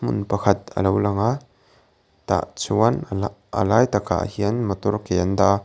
hmun pakhat a lo langa tah chuan a la a lai takah hian motor ke an dah a --